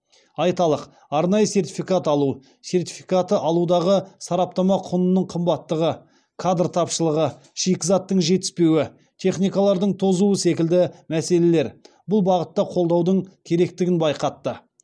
айталық арнайы сертификат алу сертификаты алудағы сараптама құнының қымбаттығы кадр тапышылығы шикізаттың жетіспеуі техникалардың тозуы секілді мәселелер бұл бағытта қолдаудың керектігін байқатты